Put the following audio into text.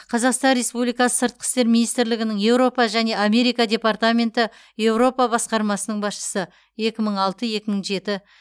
қазақстан республикасы сыртқы істер министрлігінің еуропа және америка департаменті еуропа басқармасының басшысы екі мың алты екі мың жеті